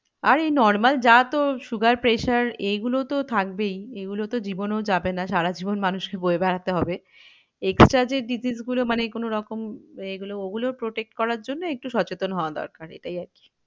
আর এই normal যা তোর sugar pressure এই গুলো তো থাকবেই। এগুলো তো জীবনেও যাবে না সারা জীবন মানুষকে বয়ে বেড়াতে হবে। extra যে disease গুলো মানে কোনো রকম এগুলো ওগুলো Protect করার জন্য একটু সচেতন হওয়া দরকার এটাই আর কি।